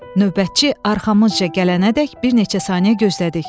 Növbətçi arxamızca gələnədək bir neçə saniyə gözlədik.